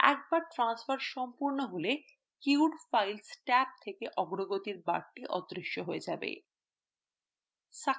একবার transfer সম্পূর্ণ হলে queued files ট্যাব থেকে অগ্রগতি বারটি অদৃশ্য হয়ে যাবে